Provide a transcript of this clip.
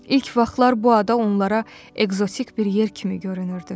İlk vaxtlar bu ada onlara ekzotik bir yer kimi görünürdü.